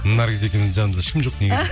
наргиз екеуіміздің жанымызда ешкім жоқ